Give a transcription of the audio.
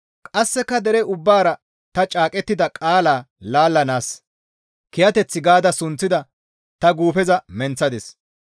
Qasseka dere ubbaara ta caaqettida qaala laallanaas, «Kiyateth» gaada sunththida ta guufeza menththadis.